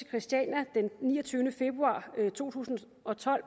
christiania den niogtyvende februar to tusind og tolv